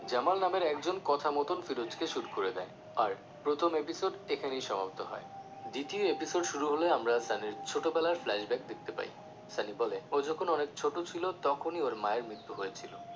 জামাল নামের একজন কথা মত ফিরোজকে shoot করে দেয় আর প্রথম episode এখানেই সমাপ্ত হয় দ্বিতীয় episode শুরু হলে আমরা সানির ছোট বেলার flashback দেখতে পাই সানি বলে ও যখন অনেক ছোট ছিলো তখনই ওর মায়ের মৃত্যু হয়েছিলো